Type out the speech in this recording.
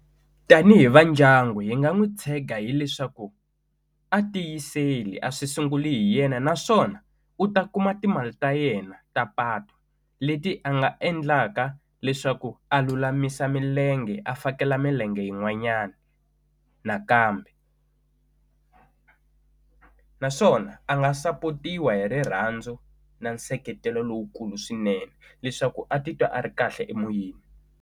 Tanihi va ndyangu hi nga n'wi tshega hileswaku a tiyiseli a swi sunguli hi yena naswona u ta kuma timali ta yena ta patu leti a nga endlaka leswaku a lulamisa milenge a fakela milenge yin'wanyani nakambe naswona a nga sapotiwa hi rirhandzu na nseketelo lowukulu swinene leswaku a titwa a ri kahle emoyeni.